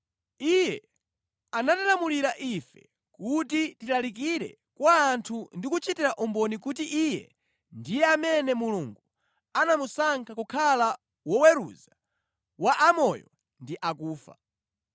Iye anatilamulira ife kuti tilalikire kwa anthu ndi kuchitira umboni kuti Iye ndiye amene Mulungu anamusankha kukhala woweruza wa amoyo ndi akufa.